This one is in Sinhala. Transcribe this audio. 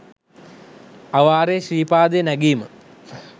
අවාරේ ශ්‍රීපාදය නැගීම